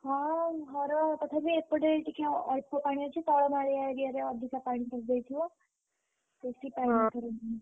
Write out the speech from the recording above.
ହଁ ଘର ତଥାପି ଏପଟେ ଟିକେ ଅଳ୍ପ ପାଣି ଅଛି ତଳ ମାଳିଆ area ରେ ଅଧିକ ପାଣି ପଶିଯାଇଥିବ। ।